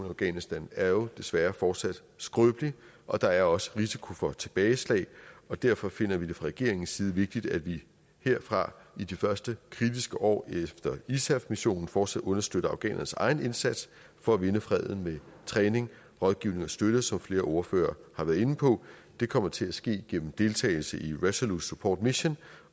afghanistan er jo desværre fortsat skrøbelig og der er også risiko for tilbageslag og derfor finder vi det fra regeringens side vigtigt at vi herfra i de første kritiske år efter isaf missionen fortsat understøtter afghanernes egen indsats for at vinde freden med træning rådgivning og støtte som flere ordførere har været inde på det kommer til at ske gennem deltagelse i resolute support mission